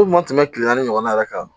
Ko ma tɛmɛ kile naani ɲɔgɔnna yɛrɛ kan